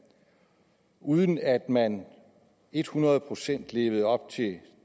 uden at man et hundrede procent levede op til